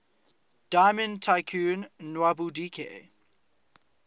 diamond tycoon nwabudike